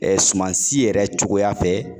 Ɛɛ suman si yɛrɛ cogoya fɛ